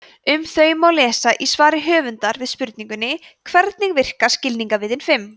um þau má lesa í svari höfundar við spurningunni hvernig virka skilningarvitin fimm